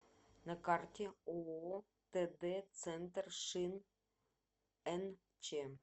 на карте ооо тд центр шин нч